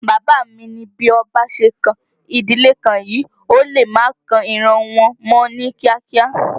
Bàbá mi ni bí ọba ṣe kan ìdílé kan yìí, ó lè má kan ìran wọn mọ́ ní kíá kíá